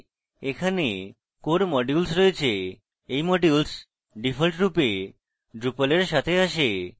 এখানে core modules রয়েছে এই modules ডিফল্টরূপে drupal এর সাথে আসে